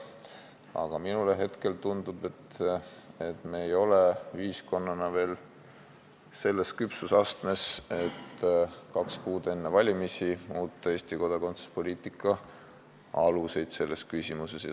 Samas mulle tundub, et me ei ole ühiskonnana veel selles küpsusastmes, et kaks kuud enne valimisi muuta Eesti kodakondsuspoliitika aluseid selles küsimuses.